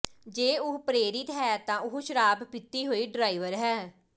ਜੇ ਉਹ ਪ੍ਰੇਰਿਤ ਹੈ ਤਾਂ ਉਹ ਸ਼ਰਾਬ ਪੀਤੀ ਹੋਈ ਡ੍ਰਾਈਵਰ ਹੈ